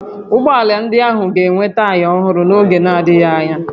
Ụgbọ ala ndị ahụ ga-enwe taya ọhụrụ n'oge n'adịghị anya